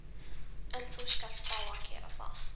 En þú skalt fá að gera það.